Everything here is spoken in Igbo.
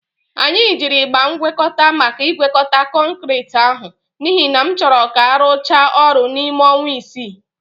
Anyị jiri ịgba ngwekọta maka ịgwekọta kọnkirit ahụ n'ihi na m chọrọ ka a rụchaa ọrụ n'ime ọnwa isii.